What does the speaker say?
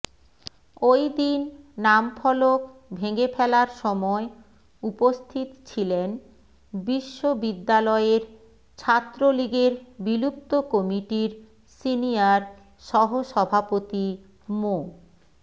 ওই দিন নামফলক ভেঙে ফেলার সময় উপস্থিত ছিলেন বিশ্ববিদ্যালয়ের ছাত্রলীগের বিলুপ্ত কমিটির সিনিয়র সহসভাপতি মো